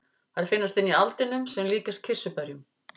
Þær finnast inni í aldinum sem líkjast kirsuberjum.